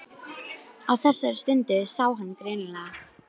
Við fengum þarna leigt á viðráðanlegu verði.